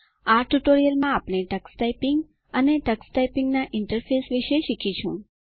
આ ટ્યુટોરીયલ માં તમે ટક્સ ટાઈપીંગ અને ટક્સ ટાઈપીંગના ઇન્ટરફેસ વિશે શીખીશું